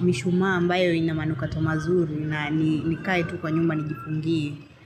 mishuma ambayo ina manukato mazuri na nikae tu kwa nyumba nigifungie.